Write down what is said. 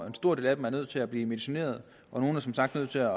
en stor del er nødt til at blive medicineret og nogle er som sagt nødt til at